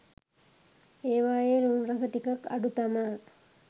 ඒවායේ ලුණු රස ටිකක් අඩු තමා